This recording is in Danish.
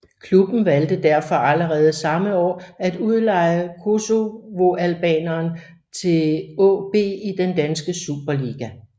Klubben valgte derfor allerede samme år at udleje kosovoalbaneren til AaB i den danske Superliga